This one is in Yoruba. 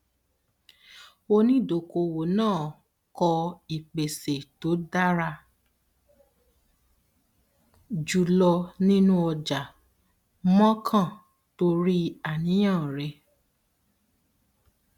onídokoowó náà kọ ìpèsè tó dára jùlọ nínú ọjà mọọkàn torí àníyàn rẹ